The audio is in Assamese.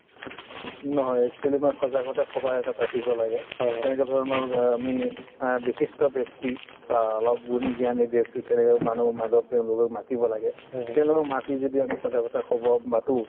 নহয় actually মানে সজাগতা সভা এটা পাতিব লাগে তেনেকে ধৰণৰ বা আমি অ বিশিষ্ট ব্যক্তি ধৰা অলপ গুণী জ্ঞানী ব্যক্তি তেনেকে মানুহ তেওঁলোকক মাতিব লাগে তেওঁলোকক মাতি যদি আমি সজাগতা সভা